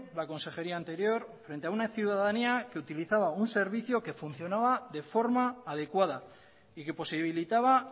la consejería anterior frente a una ciudadanía que utilizaba un servicio que funcionaba de forma adecuada y que posibilitaba